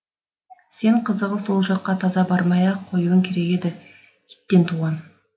сен қызығы ол жаққа таза бармай ақ қоюың керек еді иттен туған